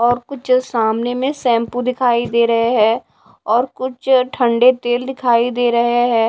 और कुछ सामने में शैंपू दिखाई दे रहे हैं और कुछ ठंडे तेल दिखाई दे रहे हैं।